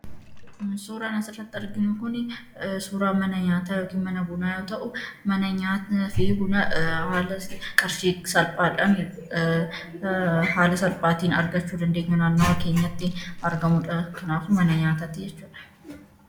Suuraan asi irratti arginuu kun suuraa mana nyataa yookiin mana Buunaa yoo ta'u, haala qarshii salphadhaan argachuu dandeenyuu naannawwa keenyatti argamudha. Kanafu mana nyatatti jechuudha.